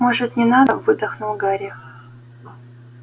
может не надо выдохнул гарри